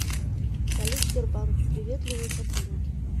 салют сбербанк приветливые сотрудники